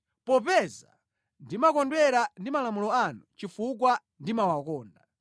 popeza ndimakondwera ndi malamulo anu chifukwa ndimawakonda.